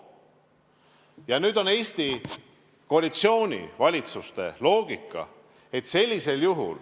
Tuleb arvestada Eesti koalitsioonivalitsuste loogikat.